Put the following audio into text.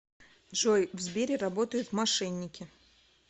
джой в сбере работают мошенники